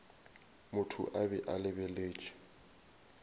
motho a be a lebeletše